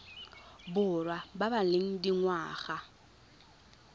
borwa ba ba leng dingwaga